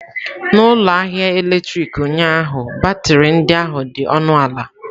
N'ụlọ ahịa eletrik ụnyaahụ batrị ndị ahụ dị ọnụ ala.